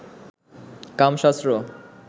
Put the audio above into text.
কামশাস্ত্র